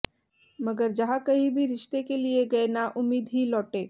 मगर जहां कहीं भी रिश्ते के लिए गये नाउम्मीद ही लौटे